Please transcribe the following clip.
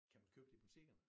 Kan man købe det i butikkerne?